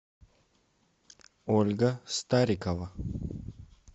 ольга старикова